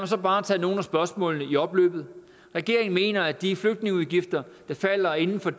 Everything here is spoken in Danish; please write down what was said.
så bare tage nogle af spørgsmålene i opløbet regeringen mener at de flygtningeudgifter der falder inden for